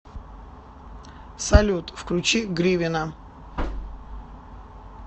салют включи гривина